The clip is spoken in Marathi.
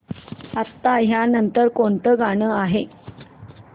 आता या नंतर कोणतं गाणं आहे